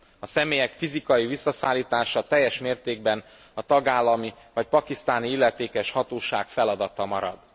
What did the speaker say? A személyek fizikai visszaszállítása teljes mértékben a tagállami vagy pakisztáni illetékes hatóság feladata marad.